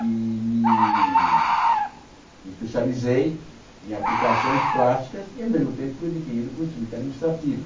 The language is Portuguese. E me especializei em aplicações plásticas e, ao mesmo tempo, fui adquirindo conhecimento administrativo.